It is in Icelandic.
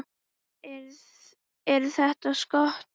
Eru þetta skot.